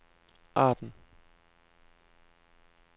Arden